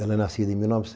Ela é nascida em mil